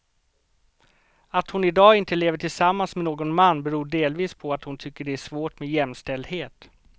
Att hon i dag inte lever tillsammans med någon man beror delvis på att hon tycker det är svårt med jämställdhet.